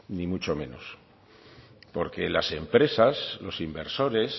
ni mucho menos porque las empresas los inversores